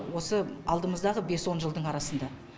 осы алдымыздағы бес он жылдың арасында